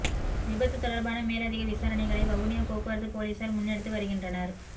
விபத்துத் தொடர்பான மேலதிக விசாரணைகளைப் வவுனியா போக்குவரத்துப் பொலிஸார் முன்னெடுத்து வருகின்றனர்